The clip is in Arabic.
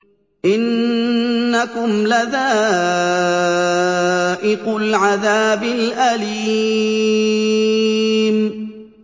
إِنَّكُمْ لَذَائِقُو الْعَذَابِ الْأَلِيمِ